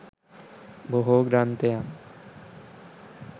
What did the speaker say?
බොහෝ ග්‍රන්ථයන්